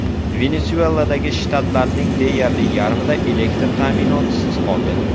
Venesueladagi shtatlarning deyarli yarmida elektr ta’minotisiz qoldi.